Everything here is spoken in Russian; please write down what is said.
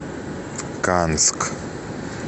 канск